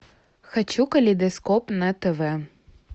хочу калейдоскоп на тв